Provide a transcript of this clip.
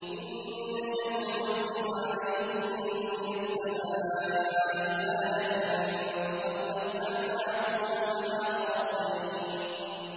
إِن نَّشَأْ نُنَزِّلْ عَلَيْهِم مِّنَ السَّمَاءِ آيَةً فَظَلَّتْ أَعْنَاقُهُمْ لَهَا خَاضِعِينَ